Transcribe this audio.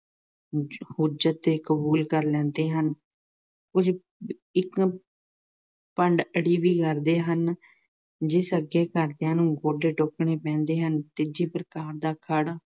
ਕੁੱਝ ਤੇ ਕਬੂ਼ਲ ਕਰ ਲੈਂਦੇ ਹਨ। ਕੁੱਝ ਭੰਡ ਅੜੀ ਵੀ ਕਰਦੇ ਹਨ, ਜਿਸ ਅੱਗੇ ਘਰਦਿਆਂ ਨੂੰ ਗੋਡੇ ਟੇਕਣੇ ਪੈਂਦੇ ਹਨ, ਤੀਜੀ ਪ੍ਰਕਾਰ ਦਾ ਘਰ